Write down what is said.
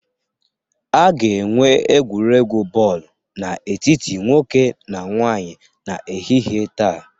A ga-enwe egwuregwu bọọlụ n'etiti nwoke na nwanyị n'ehihie taa